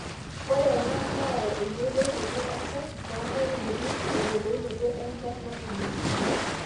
ore ena neyau eyiolounoto eñchan too nkaitubulu te yiolounoto enchan natumoyu